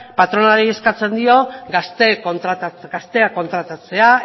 patronalari eskatzen dio gazteak kontratatzea